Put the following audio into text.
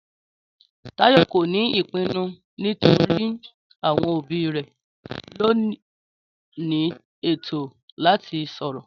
Táyò kò ní ìpinnu nítorí àwọn òbí rẹ̀ lóní ètó láti sòrò